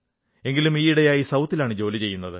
എങ്കിലും ഈയിടെയായി ദക്ഷിണേന്ത്യയിലാണ് ജോലി ചെയ്യുന്നത്